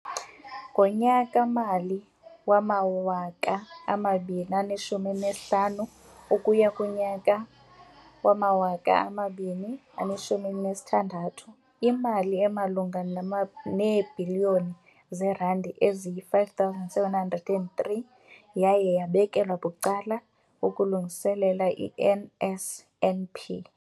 Ngonyaka-mali wama-2015 ukuya 16, imali emalunga neebhiliyoni zeerandi eziyi-5 703 yaye yabekelwa bucala ukulungiselela i-NSNP.